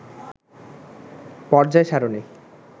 পর্যায় সারণি